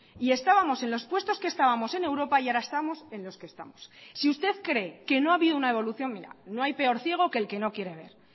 y estábamos en los puestos que estábamos en europa y ahora estamos en los que estamos si usted cree que no ha habido una evolución mira no hay peor ciego que el que no quiere ver